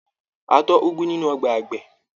A tọ́ úgú nínú ọgbà àgbẹ̀.